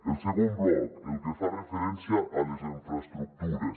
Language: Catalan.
el segon bloc el que fa referència a les infraestructures